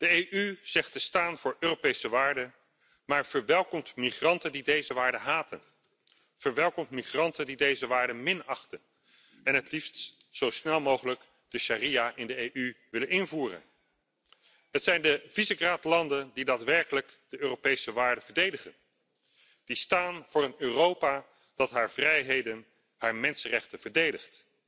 De EU zegt te staan voor Europese waarden, maar verwelkomt migranten die deze waarden haten, verwelkomt migranten die deze waarden minachten en het liefst zo snel mogelijk de sharia in de EU willen invoeren. Het zijn de Visegrad landen die daadwerkelijk de Europese waarden verdedigen, die staan voor een Europa dat zijn vrijheden, zijn mensenrechten verdedigt.